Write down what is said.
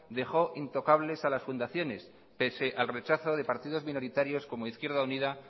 dejó intocables a las fundacione pese al rechazo de partidos minoritarios como izquierda unida